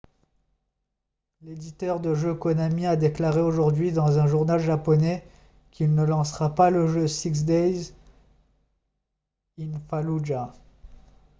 l'éditeur de jeux konami a déclaré aujourd'hui dans un journal japonais qu'il ne lancera pas le jeu six days in fallujah